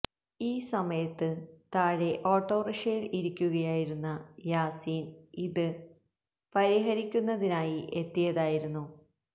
ഈ സമയത്ത് താഴെ ഓട്ടോറിക്ഷയിൽ ഇരിക്കുകയായിരുന്ന യാസീൻ ഇത് പരിഹരിക്കുന്നതിനായി എത്തിയതായിരുന്നു